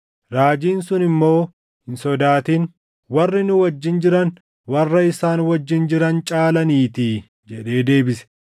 Raajiin sun immoo, “Hin sodaatin; warri nu wajjin jiran warra isaan wajjin jiran caalaniitii” jedhee deebise.